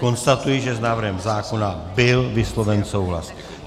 Konstatuji, že s návrhem zákona byl vysloven souhlas.